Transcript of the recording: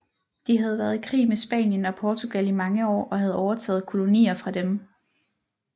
De havde været i krig med Spanien og Portugal i mange år og havde overtaget kolonier fra dem